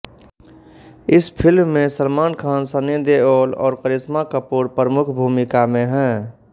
इस फिल्म में सलमान खान सनी देओल और करिश्मा कपूर प्रमुख भूमिका में हैं